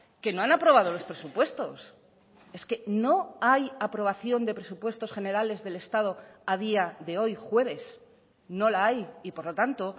que no han aprobado los presupuestos es que no hay aprobación de presupuestos generales del estado a día de hoy jueves no la hay y por lo tanto